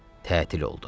Tətil oldu.